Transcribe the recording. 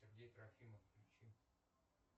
сергей трофимов включи